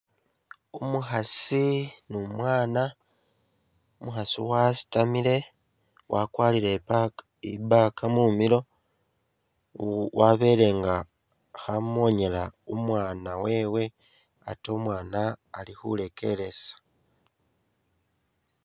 Umukhaasi ni umwaana, umukhaasi wasitamile wakwalire i'ba i'bag mumilo wabele nga khamonyela umwaana wewe ate umwaana ali khurekeresa